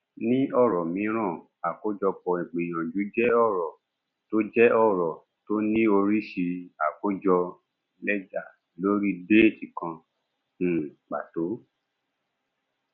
ní ọrọ mìíràn àkójọpọ ìgbìyànjú jẹ ọrọ tó jẹ ọrọ tó ní oríṣi àkójọ lẹjà lórí déètì kan um pàtó